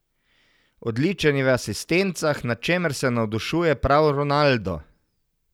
Odličen je v asistencah, nad čemer se navdušuje prav Ronaldo.